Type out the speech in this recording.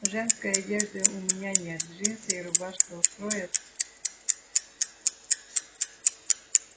женской одежды у меня нет джинсы и рубашка устроят